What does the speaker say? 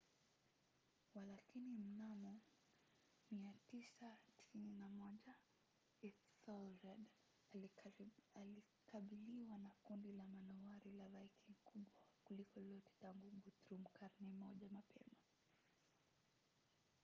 walakini mnamo 991 ethelred alikabiliwa na kundi la manowari la viking kubwa kuliko lolote tangu la guthrum karne moja mapema